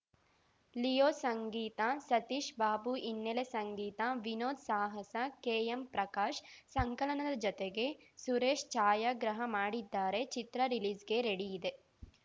Leo ಸಂಗೀತ ಸತೀಶ್‌ ಬಾಬು ಹಿನ್ನೆಲೆ ಸಂಗೀತ ವಿನೋದ್‌ ಸಾಹಸ ಕೆಎಂ ಪ್ರಕಾಶ್‌ ಸಂಕಲನದ ಜತೆಗೆ ಸುರೇಶ್‌ ಛಾಯಾಗ್ರಹ ಮಾಡಿದ್ದಾರೆ ಚಿತ್ರ ರಿಲೀಸ್‌ಗೆ ರೆಡಿಯಿದೆ